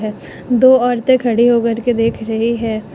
दो औरते खड़ी हो कर के देख रही है।